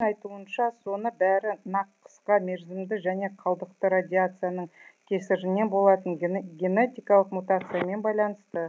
айтуынша соны бәрі нақ қысқа мерзімді және қалдықты радиацияның кесірінен болатын генетикалық мутациямен байланысты